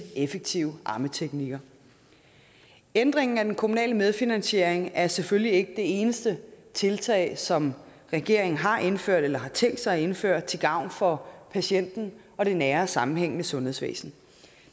effektive ammeteknikker ændringen af den kommunale medfinansiering er selvfølgelig ikke det eneste tiltag som regeringen har indført eller har tænkt sig indføre til gavn for patienten og det nære og sammenhængende sundhedsvæsen